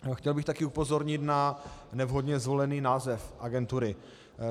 Chtěl bych také upozornit na nevhodně zvolený název agentury.